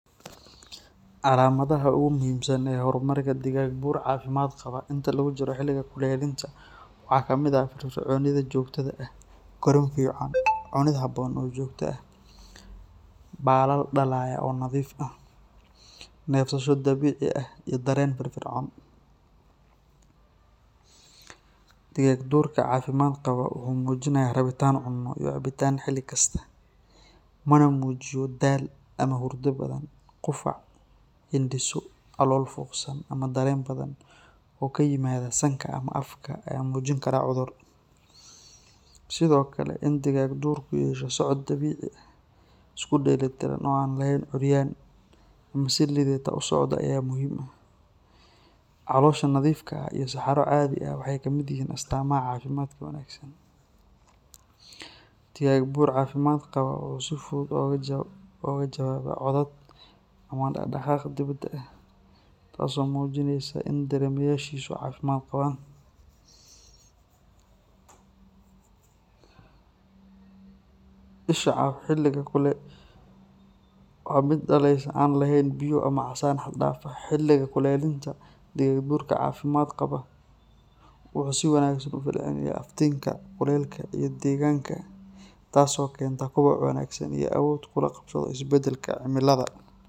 Calamadaha ugu muhiimsan ee horumarka digaagduur caafimaad qaba inta lagu jiro xiliga kulaylinta waxaa ka mid ah firfircoonida joogtada ah, korriin fiican, cunid habboon oo joogto ah, baalal dhalaalaya oo nadiif ah, neefsasho dabiici ah, iyo dareen firfircoon. Digaagduurka caafimaad qaba wuxuu muujinayaa rabitaan cunno iyo cabitaan xilli kasta, mana muujiyo daal ama hurdo badan. Qufac, hindhiso, calool fuuqsan ama dareere badan oo ka yimaada sanka ama afka ayaa muujin kara cudur. Sidoo kale, in digaagduurku yeesho socod dabiici ah, isku dheelitiran oo aan lahayn curyaan ama si liidata u socda ayaa muhim ah. Caloosha nadiifka ah iyo saxaro caadi ah waxay ka mid yihiin astaamaha caafimaadka wanaagsan. Digaagduur caafimaad qaba wuxuu si fudud uga jawaabaa codad ama dhaqdhaqaaq dibadda ah, taas oo muujinaysa in dareemayaashiisu caafimaad qabaan. Isha caafimaad qabta waa mid dhalaalaysa, aan lahayn biyo ama casaan xad dhaaf ah. Xiliga kulaylinta, digaagduurka caafimaad qaba wuxuu si wanaagsan uga falcelinayaa iftiinka, kulaylka iyo deegaanka, taas oo keenta koboc wanaagsan iyo awood uu kula qabsado isbeddelka cimilada.